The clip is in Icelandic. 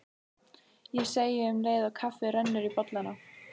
segi ég um leið og kaffið rennur í bollana.